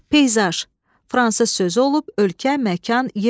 Peyzaj, fransız sözü olub, ölkə, məkan, yer deməkdir.